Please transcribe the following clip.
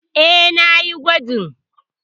E, na yi gwajin.